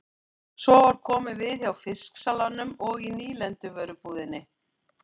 Svo var komið við hjá fisksalanum og í nýlenduvörubúðinni.